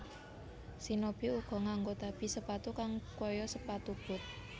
Shinobi uga nganggo tabi sepatu kang kaya sepatu boot